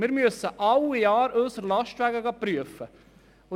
Wir müssen jedes Jahr unsere Lastwagen prüfen lassen.